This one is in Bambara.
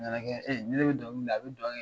A nana kɛ ni ne bi dɔnkilida, a bi dɔn kɛ.